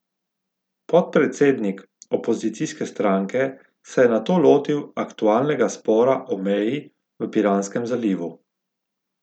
Podpredsednik opozicijske stranke se je nato lotil aktualnega spora o meji v Piranskem zalivu.